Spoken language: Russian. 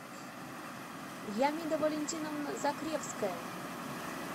ямида валентиновна закревская